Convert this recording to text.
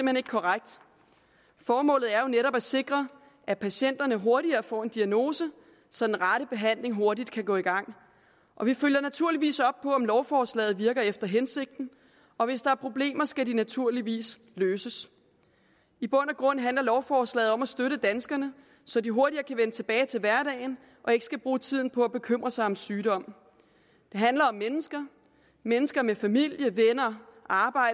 hen ikke korrekt formålet er jo netop at sikre at patienterne hurtigere får en diagnose så den rette behandling hurtigt kan gå i gang vi følger naturligvis op på om lovforslaget virker efter hensigten og hvis der er problemer skal de naturligvis løses i bund og grund handler lovforslaget om at støtte danskerne så de hurtigere kan vende tilbage til hverdagen og ikke skal bruge tiden på at bekymre sig om sygdom det handler om mennesker mennesker med familie venner